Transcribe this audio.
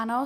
Ano.